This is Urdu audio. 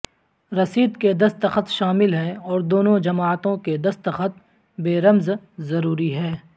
رسید کے دستخط شامل ہیں اور دونوں جماعتوں کے دستخط بےرمز ضروری ہے